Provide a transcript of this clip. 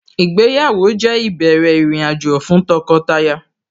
Ìgbéyàwó jẹ́ ìbẹ̀rẹ̀ ìrìnàjò fún tọkọtaya